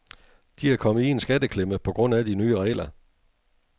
De er kommet i en skatteklemme på grund af de nye regler.